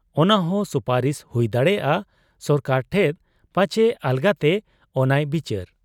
ᱚᱱᱟᱦᱚᱸ ᱥᱩᱯᱟᱨᱤᱥ ᱦᱩᱭ ᱫᱟᱲᱮᱭᱟᱜ ᱟ ᱥᱚᱨᱠᱟᱨ ᱴᱷᱮᱫ ᱾ ᱯᱟᱪᱦᱮ ᱟᱞᱟᱜᱽᱛᱮ ᱚᱱᱟᱭ ᱵᱤᱪᱟᱹᱨ ᱾